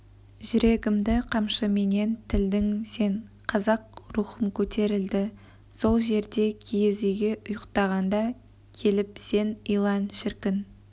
жүрегімді қамшыменен тілдің сен қазақ рухым көтерілді сол жерде киіз үйге ұйықтағанда келіп сен илан шіркін